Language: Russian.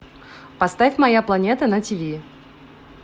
поставь моя планета на тиви